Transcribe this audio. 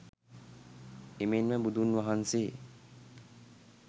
එමෙන්ම බුදුන් වහන්සේ